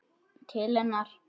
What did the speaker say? Til hennar.